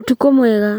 Ũtukũ mwega